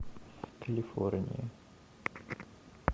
калифорния